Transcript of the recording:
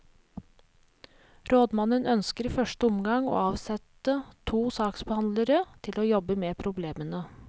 Rådmannen ønsker i første omgang å avsette to saksbehandlere til å jobbe med problemene.